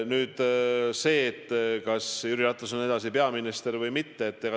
Nüüd see, kas Jüri Ratas on edasi peaminister või mitte.